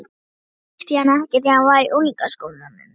Annars þekkti ég hann ekki þegar hann var í unglingaskólanum.